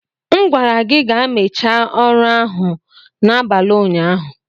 M gwara gị ka mechaa ọrụ ahụ n'abalị ụnyaahụ.